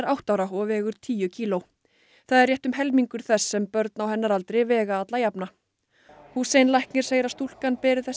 átta ára og vegur tíu kíló það er rétt um helmingur þess sem börn á hennar aldri vega alla jafna læknir segir að stúlkan beri þess